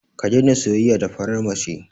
Ka daina soyayya da farar mace.